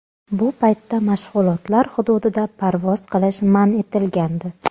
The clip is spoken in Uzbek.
Bu paytda mashg‘ulotlar hududida parvoz qilish man etilgandi.